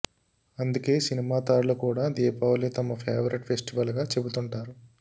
అందుకే సినిమా తారలు కూడా దీపావళి తమ ఫేవరేట్ ఫెస్టివల్ గా చెబుతుంటారు